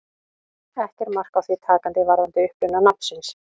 Ekki er mark á því takandi varðandi uppruna nafnsins.